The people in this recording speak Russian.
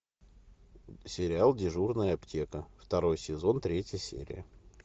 сериал дежурная аптека второй сезон третья серия